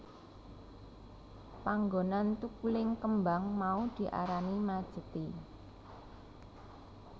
Panggonan thukuling kembang mau diarani Majethi